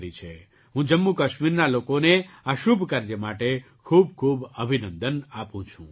હું જમ્મુકાસ્મીરના લોકોને આ શુભ કાર્ય માટે ખૂબખૂબ અભિનંદન આપું છું